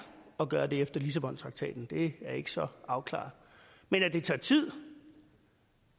at gøre det efter lissabontraktaten det er ikke så afklaret men at det tager tid